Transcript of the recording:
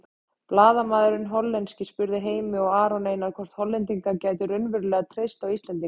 Blaðamaðurinn hollenski spurði Heimi og Aron Einar hvort Hollendingar gætu raunverulega treyst á Íslendinga.